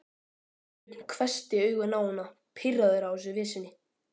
Sveinbjörn hvessti augun á hana, pirraður á þessari vitleysu.